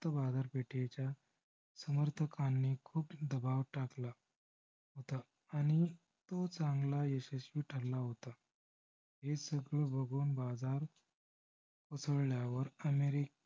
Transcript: बाजारपेठेच्या समर्थकांनी खूप दबाव टाकला होता. आणि तो चांगला यशस्वी ठरला होता. हे सगळे बघून बाजार उसळल्यावर america ने